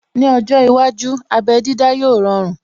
Ní ọjọ́ iwájú, abé dídá yóò rọrun